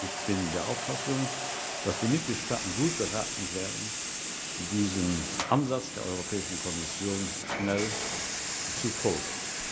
Ich bin der Auffassung, dass die Mitgliedstaaten gut beraten wären, diesem Ansatz der Europäischen Kommission schnell zu folgen.